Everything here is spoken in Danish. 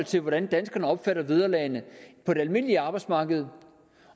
til hvordan danskerne opfatter de vederlag der er på det almindelige arbejdsmarked